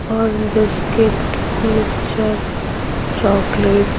और biscuit mixer chocolate --